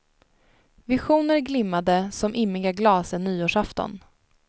Visioner glimmade som immiga glas en nyårsafton.